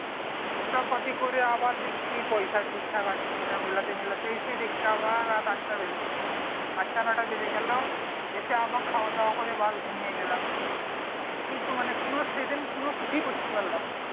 হিসাব পাতি করে আবার দেখছি পয়সা ঠিকঠাক আছে কি না মিলাতে মিলাতে সেই দেখছি আবার রাত আট টা বেজে গেলো আট তা নয়টা বেজে গেলো এসে আবার খাওয়া দাওয়া করে ব্যাস ঘুমিয়ে গেলাম সেই তো মানে সেই দিন কোনো সেইদিন কোনো কিছু করতে পারলাম না